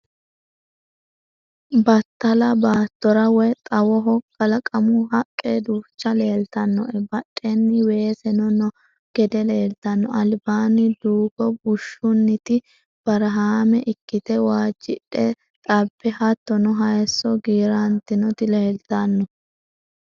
Battala baattora woyi xawoho kalaqamu haqqe duucha leeltannoe badheenni weeseno noo gede leeltanno. Albaanni duugo bushshunniti barahaame ikkite waajjidhe xabbe hattono hayisso giirantinoti leeltanno.